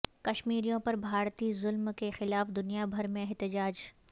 کشمیریوں پر بھارتی ظلم کیخلاف دنیا بھر میں احتجاج